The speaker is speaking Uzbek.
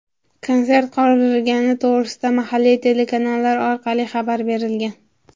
Konsert qoldirilgani to‘g‘risida mahalliy telekanallar orqali xabar berilgan.